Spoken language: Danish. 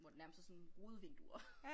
Hvor det nærmest er sådan rudevinduer